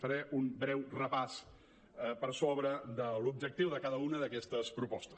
faré un breu repàs per sobre de l’objectiu de cada una d’aquestes propostes